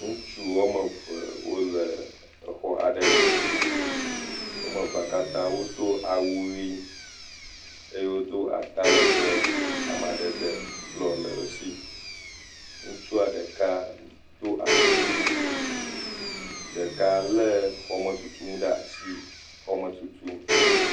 Ŋutsu wɔme eve wole exɔ ɖe me, wome eva kata wo do awu ɣie eye wo do ata legbee amadede blɔ le esi, ŋutsua ɖeka do asiwui, ɖeka lé xɔme tutu ŋu ɖe asi xɔme tutum.